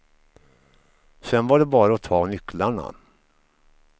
Sen var det bara att ta nycklarna.